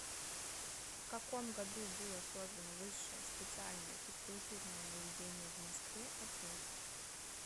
в каком году было создано высшее специальное физкультурное заведение в москве ответ